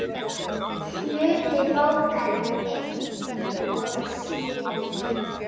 Hluti bókar einn og sér.